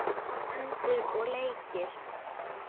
Föndur og leikir.